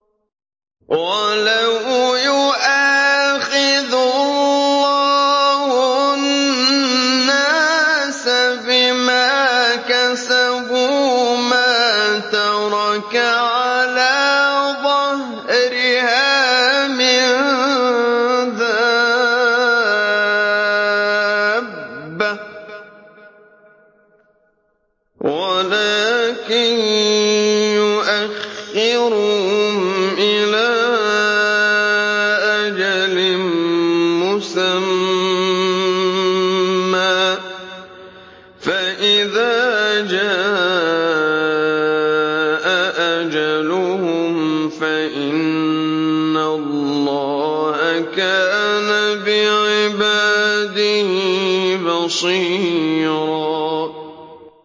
وَلَوْ يُؤَاخِذُ اللَّهُ النَّاسَ بِمَا كَسَبُوا مَا تَرَكَ عَلَىٰ ظَهْرِهَا مِن دَابَّةٍ وَلَٰكِن يُؤَخِّرُهُمْ إِلَىٰ أَجَلٍ مُّسَمًّى ۖ فَإِذَا جَاءَ أَجَلُهُمْ فَإِنَّ اللَّهَ كَانَ بِعِبَادِهِ بَصِيرًا